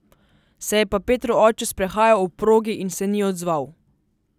Se je pa Petrov oče sprehajal ob progi in se ni odzval.